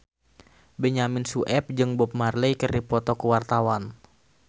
Benyamin Sueb jeung Bob Marley keur dipoto ku wartawan